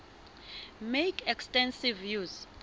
make extensive use